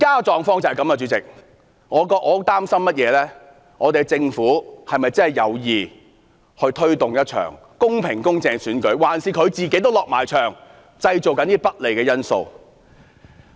主席，我擔心政府是否真的有意推動一場公平、公正的選舉，還是自己也"落場"製造一些不利的因素。